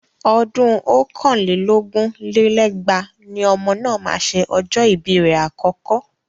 Ọdún ọ̀kàn lé lógún lé lẹ́gbàá ni ọmọ náà máa ṣe ọjọ́ ibi rẹ̀ àkọ́kọ́.